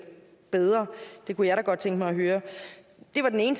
bedre det kunne jeg da godt tænke mig at høre det var den ene